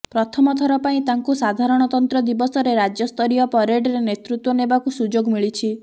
ପ୍ରଥମ ଥର ପାଇଁ ତାଙ୍କୁ ସାଧାରଣତନ୍ତ୍ର ଦିବସରେ ରାଜ୍ୟ ସ୍ତରୀୟ ପରେଡରେ ନେତୃତ୍ୱ ନେବାକୁ ସୁଯୋଗ ମିଳିଛି